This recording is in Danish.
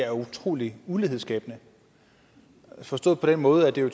er utrolig ulighedsskabende forstået på den måde at det